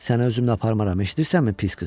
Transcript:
Səni özümlə aparmaram, eşidirsənmi pis qız?